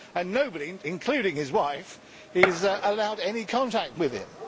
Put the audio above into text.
Nobody, including his wife, is allowed any contact with him.